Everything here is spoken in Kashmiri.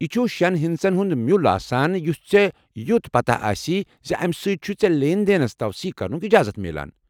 یہِ چھُ شٮ۪ن ہِندسن ہُنٛد مِیُل آسان یُس ژےٚ یوت پتاہ آسی زِ امہِ سۭتۍ چُھیے ژےٚ لین دینس توثیٖق کرنُک اجازت میلان۔